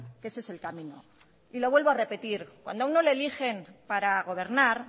que ese es el camino y lo vuelvo a repetir cuando a uno lo eligen para gobernar